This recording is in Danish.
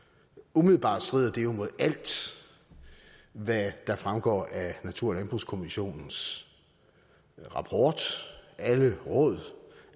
umiddelbart strider det jo imod alt hvad der fremgår af natur og landbrugskommissionens rapport og mod alle råd og